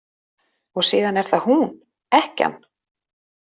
Og síðan er það hún: Ekkjan.